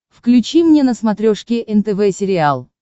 включи мне на смотрешке нтв сериал